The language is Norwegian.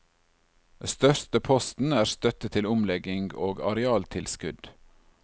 Største posten er støtte til omlegging og arealtilskudd.